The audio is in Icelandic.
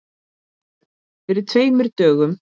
Fyrir tveimur dögum?